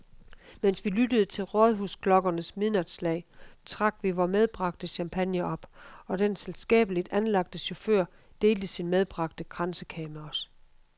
Mens vi lyttede til rådhusklokkernes midnatsslag, trak vi vor medbragte champagne op, og den selskabeligt anlagte chauffør delte sin medbragte kransekage med os.